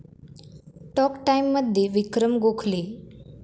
talk टाइम'मध्ये विक्रम गोखले